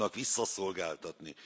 visszaszolgáltatni.